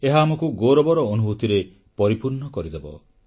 ଏହା ଆମକୁ ଗୌରବର ଅନୁଭୂତିରେ ପରିପୂର୍ଣ୍ଣ କରିଦେବ